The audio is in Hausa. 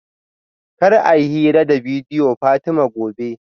Kar a yi hira da bidiyo Fatima gobe